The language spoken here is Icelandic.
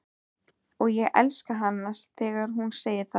Og ég elska hana þegar hún segir það.